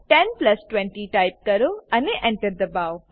10 plus 20 type કરો અને Enter દબાવો